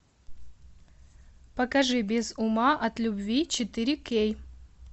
покажи без ума от любви четыре кей